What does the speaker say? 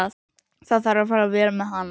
Það þarf að fara vel með hana.